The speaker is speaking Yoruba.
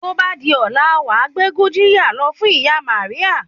Tó bá di ọ̀la, wàá gbé Gurjiya lọ fún ìyá Maria